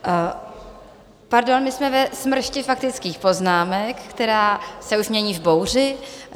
Pardon, my jsme ve smršti faktických poznámek, která se už mění v bouři.